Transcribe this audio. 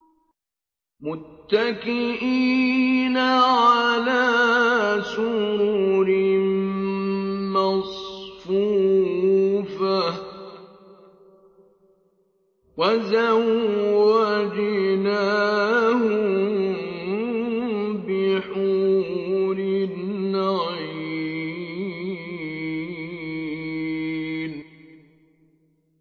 مُتَّكِئِينَ عَلَىٰ سُرُرٍ مَّصْفُوفَةٍ ۖ وَزَوَّجْنَاهُم بِحُورٍ عِينٍ